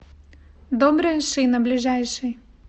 добрая шина ближайший